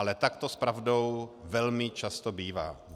Ale tak to s pravdou velmi často bývá.